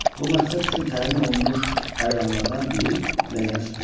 Bu məqsəd üçün təyin olunmuş əyanlardan biri ləyənə su tökdü.